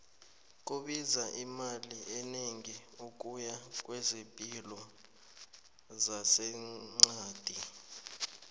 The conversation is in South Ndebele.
kubiza imali enegi ukuya kwezepilo zase qadi